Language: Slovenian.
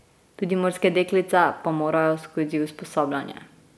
Tudi morske deklice pa morajo skozi usposabljanje.